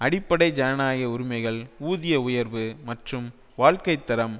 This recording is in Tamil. அடிப்படை ஜனநாயக உரிமைகள் ஊதிய உயர்வு மற்றும் வாழ்க்கை தரம்